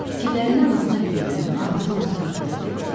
Fikirlərini anasına bildirəndə anası onu sakitləşdirib dedi: